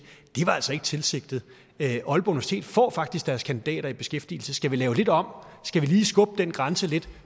det var altså ikke tilsigtet aalborg universitet får faktisk deres kandidater i beskæftigelse skal vi lave det lidt om skal vi lige skubbe den grænse lidt